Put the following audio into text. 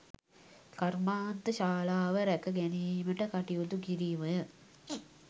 කර්මාන්ත ශාලාව රැක ගැනීමට කටයුතු කිරීමය